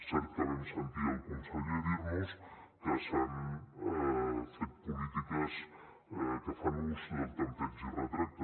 cert que vam sentir el conseller dir nos que s’han fet polítiques que fan ús del tanteig i retracte